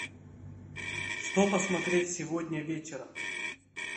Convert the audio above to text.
что посмотреть сегодня вечером